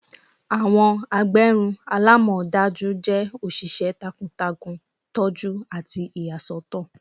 Awọn agbẹrun alamọdaju jẹ oṣiṣẹ takuntakun, tọju ati iyasọtọ